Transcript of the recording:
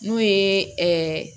N'o ye